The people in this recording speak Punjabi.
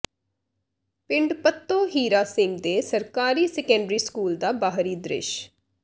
ਪਿੰਡ ਪੱਤੋ ਹੀਰਾ ਸਿੰਘ ਦੇ ਸਰਕਾਰੀ ਸੈਕੰਡਰੀ ਸਕੂਲ ਦਾ ਬਾਹਰੀ ਦ੍ਰਿਸ਼